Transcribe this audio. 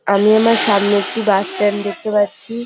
আমি আমার সামনে একটি বাস স্ট্যান্ড দেখতে পাচ্ছি।